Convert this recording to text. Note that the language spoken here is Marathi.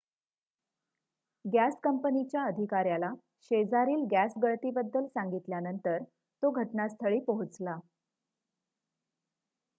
गॅस कंपनीच्या अधिकाऱ्याला शेजारील गॅस गळती बद्दल सांगितल्यानंतर तो घटनास्थळी पोहोचला